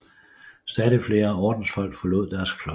Stadig flere ordensfolk forlod deres klostre